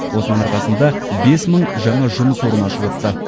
осының арқасында бес мың жаңа жұмыс орны ашылыпты